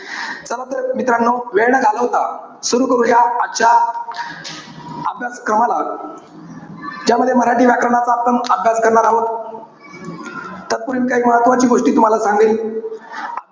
चला तर मित्रानो, वेळ न घालवता, सुरु करूया, आजच्या अभ्यासक्रमाला. ज्यामध्ये मराठी व्याकरणाचा आपण अभ्यास करणार आहोत. त्यात पुढील काही महत्वाची गोष्टी तुम्हाला सांगीन.